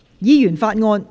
議員法案：首讀。